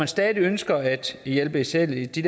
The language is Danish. stadig ønsker at hjælpe især de